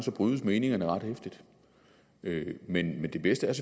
brydes meningerne ret heftigt men det bedste er